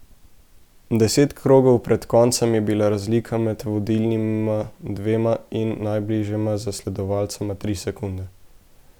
Deset krogov pred koncem je bila razlika med vodilnima dvema in najbližjima zasledovalcema tri sekunde.